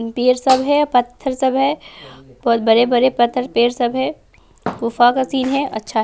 पेर सब है पत्थर सब है बहुत बड़े-बड़े पत्थर पेर सब है गुफा का सीन है अच्छा है।